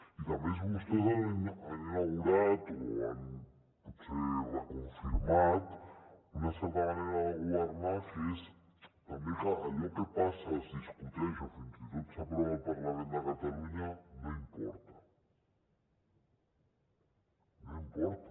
i a més vostès han inaugurat o potser reconfirmat una certa manera de governar que és també que allò que passa es discuteix o fins i tot s’aprova al parlament de catalunya no importa no importa